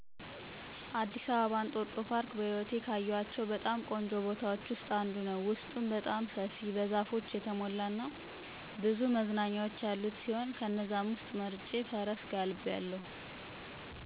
አዲስ አበባ እንጦጦ ፓርክ በህይወቴ ካየኋቸው በጣም ቆንጆ ቦታዎች ውስጥ አንዱ ነው። ውስጡም በጣም ሰፊ፣ በዛፎች የተሞላ እና ብዙ መዝናኛዎች ያሉት ሲሆን ከነዛም ውስጥ መርጬ ፈረስ ጋልቢያለሁ።